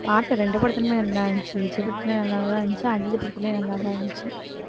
பாட்டு ரெண்டு படத்திலயுமே நல்லா இருந்துச்சு விஜய் படத்துல நல்லா தான் இருந்துச்சு அஜித் படத்துலயும் நல்லா தான் இருந்துச்சு